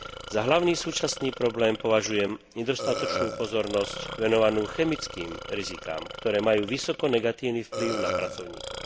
Za hlavný súčasný problém považujem nedostatočnú pozornosť venovanú chemickým rizikám, ktoré majú vysoko negatívny vplyv na pracovníkov.